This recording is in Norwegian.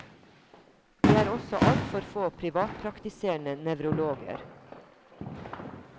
Det er også altfor få privatpraktiserende nevrologer.